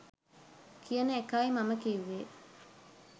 කියන එකයි මම කිව්වෙ